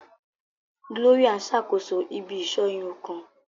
Gloria n sakoso ibi-iṣọ irun kan.